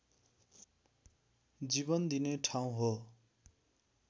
जीवन दिने ठाउँ हो